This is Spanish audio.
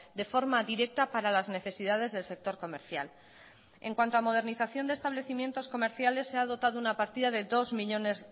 de forma directa para las necesidades del sector comercial en cuanto a modernización de establecimientos comerciales se ha dotado una partida de dos millónes